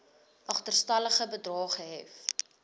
agterstallige bedrae gehef